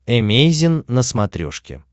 эмейзин на смотрешке